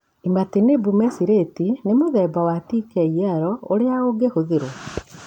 Imatinib mesylate nĩ mũthemba wa TKI ũrĩa ũngĩhũthĩrwo.